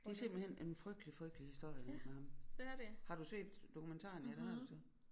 Det er simpelthen en frygtelig frygtelig historie med ham har du set dokumentaren ja det har du